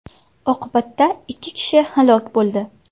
Oqibatda ikki kishi halok bo‘ldi.